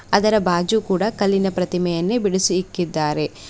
ಅದರ ಬಾಜು ಕೂಡ ಕಲ್ಲಿನ ಪ್ರತಿಮೆಯನ್ನೆ ಬಿಡಿಸಿ ಇಕ್ಕಿದ್ದಾರೆ.